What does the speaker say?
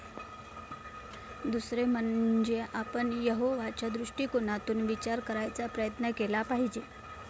दुसरे म्हणजे आपण यहोवाच्या दृष्टिकोनातून विचार करायचा प्रयत्न केला पाहिजे.